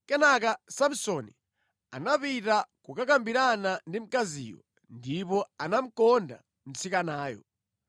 Kenaka Samsoni anapita kukakambirana ndi mkaziyo, ndipo anamukonda mtsikanayo.